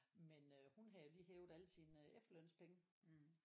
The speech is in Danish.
Men øh hun havde jo lige hævet alle sine efterlønspenge